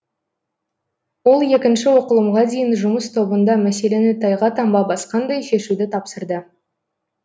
ол екінші оқылымға дейін жұмыс тобында мәселені тайға таңба басқандай шешуді тапсырды